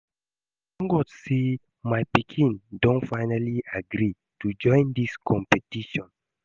I thank God say my pikin don finally agree to join dis competition